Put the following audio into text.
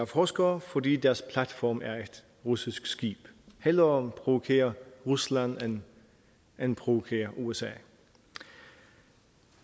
forskere fordi deres platform er et russisk skib hellere provokere rusland end provokere usa